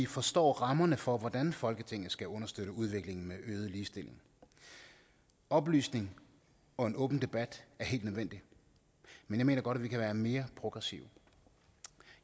forstå rammerne for hvordan folketinget skal understøtte udviklingen med øget ligestilling oplysning og en åben debat er helt nødvendigt men jeg mener godt at vi kan være mere progressive